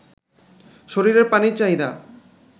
শরীরের পানির চাহিদা